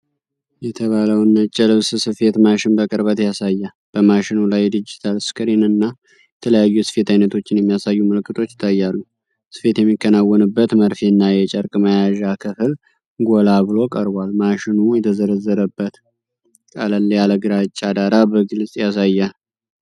የተባለውን ነጭ የልብስ ስፌት ማሽን በቅርበት ያሳያል። በማሽኑ ላይ ዲጂታል ስክሪን፣ እና የተለያዩ የስፌት አይነቶችን የሚያሳዩ ምልክቶች ይታያሉ። ስፌት የሚከናወንበትን መርፌና የጨርቅ መያዣ ክፍል ጎላ ብሎ ቀርቧል። ማሽኑ የተዘረዘረበት ቀለል ያለ ግራጫ ዳራ በግልጽ ያሳያል።